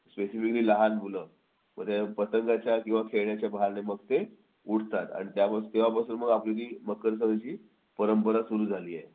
specifically लहान मुलं मग ते पतंगाच्या किंवा खेळण्याच्या बहाण्याने ते उठतात आणि तेव्हापासून आपली ती मकर संक्रांतीची परंपरा सुरू झाली आहे